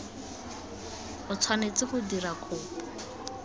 o tshwanetse go dira kopo